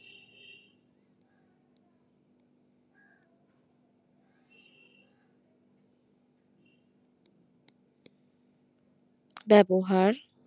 ব্যবহার